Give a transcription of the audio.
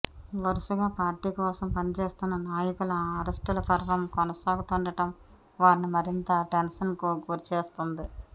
వరుసగా పార్టీకోసం పనిచేస్తున్న నాయకుల అరెస్ట్ ల పర్వం కొనసాగుతుండడం వారిని మరింత టెన్షన్ కు గురి చేస్తోంది